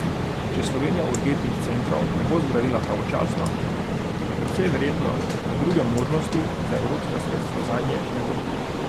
Če Slovenija urgentnih centrov ne bo zgradila pravočasno, je precej verjetno, da druge možnosti za evropska sredstva zanje ne bo.